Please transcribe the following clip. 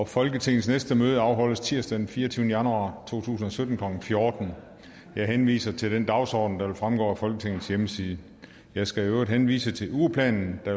folketingets næste møde afholdes tirsdag den fireogtyvende januar to tusind og sytten klokken fjorten jeg henviser til den dagsorden der fremgår af folketingets hjemmeside jeg skal i øvrigt henvise til ugeplanen der